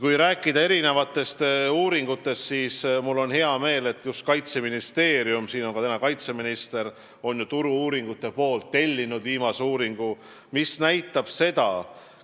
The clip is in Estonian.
Kui rääkida uuringutest, siis mul on hea meel öelda, et Kaitseministeerium – täna on siin ka kaitseminister – on Turu-uuringute AS-ilt tellinud uuringu, mis näitab toetuse kasvu.